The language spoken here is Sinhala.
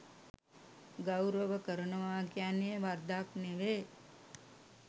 ගෞරව කරනවා කියන්නේ වරදක් නෙවේ.